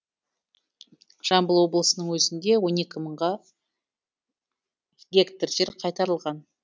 жамбыл облысының өзінде он екі мың гектар жер қайтарылған